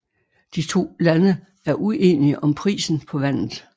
De to lande er ueninge om prisen på vandet